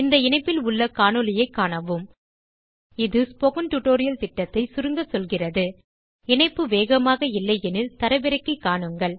இந்த இணைப்பில் உள்ள காணொளியைக் காணவும் இது ஸ்போக்கன் டியூட்டோரியல் திட்டத்தைச் சுருங்க சொல்கிறது இணைப்பு வேகமாக இல்லை எனில் தரவிறக்கி காணுங்கள்